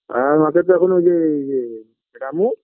আর আমাদের তো এখনও ইয়ে ইয়ে রামু